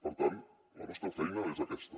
per tant la nostra feina és aquesta